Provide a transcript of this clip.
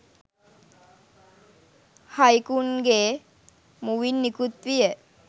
හයිකුන්ගේ මුවින් නිකුත් විය.